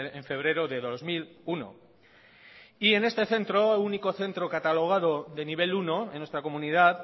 en febrero de dos mil uno y en este centro único centro catalogado de nivel uno en nuestra comunidad